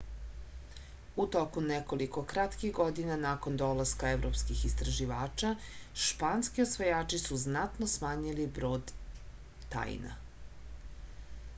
u toku nekoliko kratkih godina nakon dolaska evropskih istraživača španski osvajači su značajno smanjili broj taina